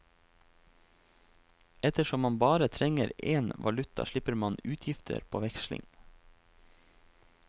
Ettersom man bare trenger en valuta slipper man utgifter på veksling.